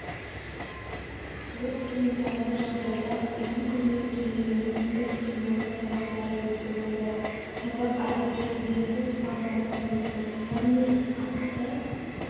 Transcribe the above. өрт туындаған жағдайда ұйым қызметкерлерінің іс-қимылы сабақтары өткізілді сабақ әдеттегіден тыс форматта өтті яғни акт